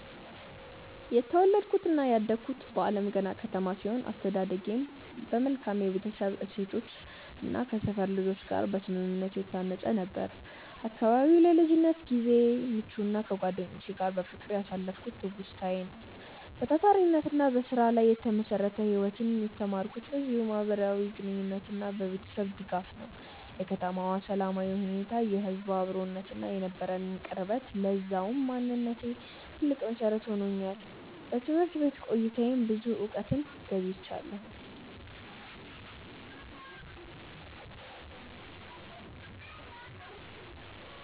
የተወለድኩትና ያደግኩት በአለምገና ከተማ ሲሆን፣ አስተዳደጌም በመልካም የቤተሰብ እሴቶችና ከሰፈር ልጆች ጋር በስምምነት የታነጸ ነበር። አካባቢው ለልጅነት ጊዜዬ ምቹና ከጓደኞቼ ጋር በፍቅር ያሳለፍኩበት ትውስታዬ ነው። በታታሪነትና በስራ ላይ የተመሰረተ ህይወትን የተማርኩትም በዚሁ ማህበራዊ ግንኙነትና በቤተሰቤ ድጋፍ ነው። የከተማዋ ሰላማዊ ሁኔታ፣ የህዝቡ አብሮነትና የነበረን ቅርበት ለዛሬው ማንነቴ ትልቅ መሰረት ሆኖኛል። በትምህርት ቤት ቆይታዬም ብዙ እውቀትን ገብይቻለሁ።